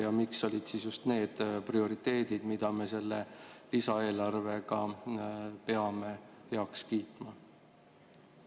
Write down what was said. Ja miks olid siin just need prioriteedid, mida me selle lisaeelarvega peame heaks kiitma?